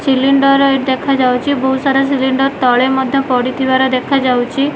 Cylinder ଟେ ଦେଖାଯାଉଚି ବହୁସାରା ସିଲିଣ୍ଡର ତଳେ ମଧ୍ୟ ପଟିଥିବାର ଦେଖାଯାଉଛି।